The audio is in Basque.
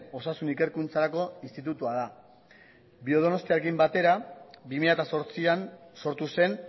osasun ikerkuntzarako institutua da biodonostiarekin batera bi mila zortzian sortu zen